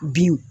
Binw